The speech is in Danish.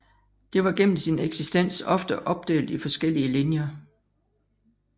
Det var gennem sin eksistens ofte opdelt i forskellige linjer